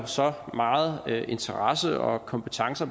så meget interesse og kompetence